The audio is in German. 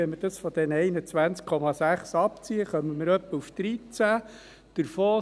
Wenn man dies von den 21,6 abzieht, kommt man auf ungefähr 13. Davon